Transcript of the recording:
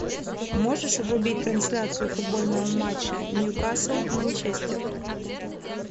можешь врубить трансляцию футбольного матча ньюкасл манчестер